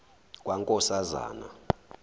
kankosazana